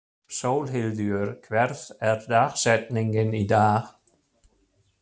Sólhildur, hver er dagsetningin í dag?